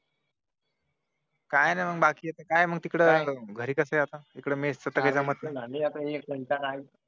काही नाही बाकी आता काय तिकडे घरी कस आहे इकडे मेस च काही जमत नाही चार मिनिट झाली एक मिनिट